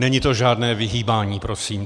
Není to žádné vyhýbání, prosím.